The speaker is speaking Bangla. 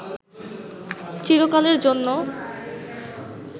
চিরকালের জন্য